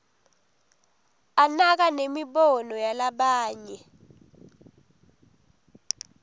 anaka nemibono yalabanye